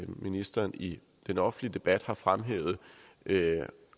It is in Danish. ministeren i den offentlige debat har fremhævet